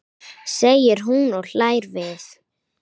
segir hún og hlær við.